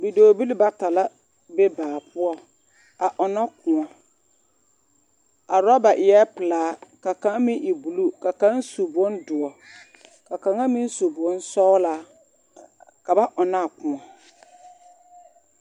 Bidɔɔbili bata la be baa poɔ a ɔnnɔ kóɔ a orɔba eɛ pelaa ka kaŋ meŋ e buluu ka kaŋ meŋ su bondoɔ ka kaŋ meŋ su bonsɔɔlaa ka ba ɔnnɔ na a kóɔ